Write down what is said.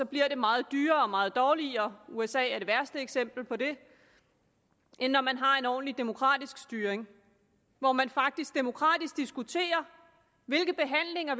bliver det meget dyrere og meget dårligere usa er det værste eksempel på det end når man har en ordentlig demokratisk styring hvor man faktisk demokratisk diskuterer hvilke behandlinger